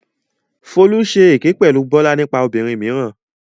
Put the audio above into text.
Folú ṣe èké pẹ̀lú Bọ́lá nípa ọmọbìnrin mìíràn.